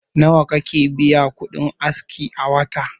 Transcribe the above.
Nawa kake biya kudin aski a wata?